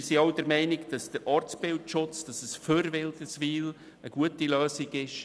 Wir sind zudem der Meinung, dass es für Wilderswil auch im Sinne des Ortsbildschutzes eine gute Lösung ist.